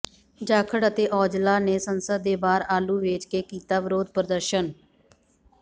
ਜਾਖੜ ਅਤੇ ਔਜਲਾ ਨੇ ਸੰਸਦ ਦੇ ਬਾਹਰ ਆਲੂ ਵੇਚ ਕੇ ਕੀਤਾ ਵਿਰੋਧ ਪ੍ਰਦਰਸ਼ਨ